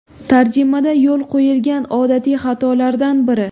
Tarjimada yo‘l qo‘yilgan odatiy xatolardan biri.